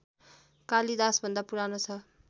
कालिदासभन्दा पुरानो छ